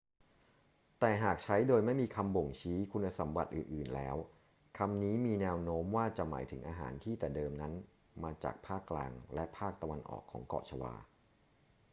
แต่หากใช้โดยไม่มีคำบ่งชี้คุณสมบัติอื่น ๆ แล้ว คำนี้มีแนวโน้มว่าจะหมายถึงอาหารที่แต่เดิมนั้นมาจากภาคกลางและภาคตะวันออกของเกาะชวา